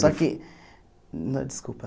Só que... Desculpa.